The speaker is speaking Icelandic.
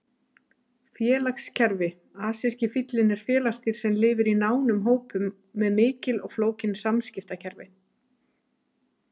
Félagskerfi Afríski fíllinn er félagsdýr sem lifir í nánum hópum með mikil og flókin samskiptakerfi.